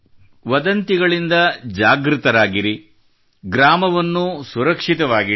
ವದಂತಿಗಳಿಂದ ಜಾಗೃತರಾಗಿರಿ ಗ್ರಾಮವನ್ನೂ ಸುರಕ್ಷಿತವಾಗಿಡಿ